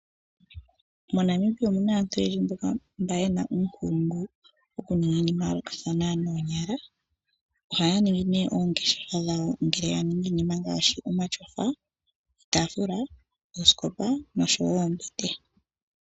MoNamibia omuna aantu oyendji mboka yena uunkulungu okuninga iinima yayoolokathana noonyala . Ohaya ningi oongeshefa dhawo, yo taya ningi iinima ngaashi omatyofa, iitaafula noshowoo oombete.